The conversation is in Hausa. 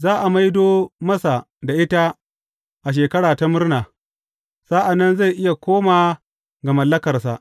Za a maido masa da ita a Shekara ta Murna, sa’an nan zai iya koma ga mallakarsa.